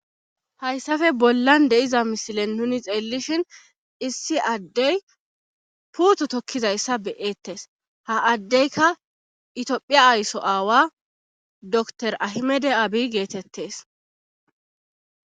Hayssafe bollan de'iza misilen nuni xeellishin issi addey puuthu tokkizayssa beyettes ha addeyka itiphiya aysso aawa dr ahimede aabi geetettes.